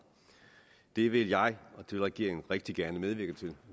det vil jeg og regeringen rigtig gerne medvirke til